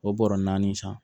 O bɔrɔ naani san